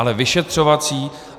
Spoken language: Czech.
Ale vyšetřovací?